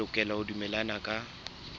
le lokela ho dumellana ka